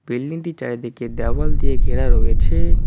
বিল্ডিংটির চারিদিকে দেওয়াল দিয়ে ঘেরা রয়েছে।